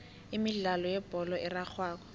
imidlalo yebholo erarhwako